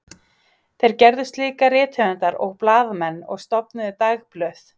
Þeir gerðust líka rithöfundar og blaðamenn og stofnuðu dagblöð.